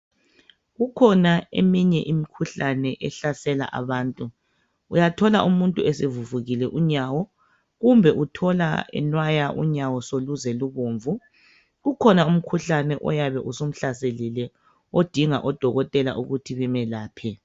Kukhona eminye imikhuhlane ehlasela abantu. Uyathola umuntu esevuvukile unyawo kumbe uthola enwaya unyawo soluze ubomvu. Kukhona umkhuhlane oyabe usumuhlaselile. Odinga odokotela ukuthi bemelaphe.